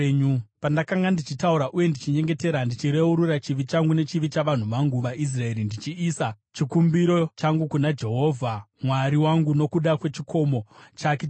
Pandakanga ndichitaura uye ndichinyengetera, ndichireurura chivi changu nechivi chavanhu vangu vaIsraeri ndichiisa chikumbiro changu kuna Jehovha Mwari wangu nokuda kwechikomo chake chitsvene,